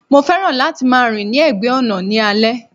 Mo fẹ́ràn láti máa rìn ní ẹ̀gbẹ́ ọ̀nà ní alẹ́.